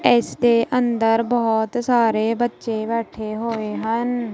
ਇਸ ਦੇ ਅੰਦਰ ਬਹੁਤ ਸਾਰੇ ਬੱਚੇ ਬੈਠੇ ਹੋਏ ਹਨ।